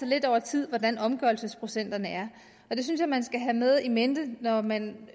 lidt over tid hvordan omgørelsesprocenterne er jeg synes at man skal have med in mente når man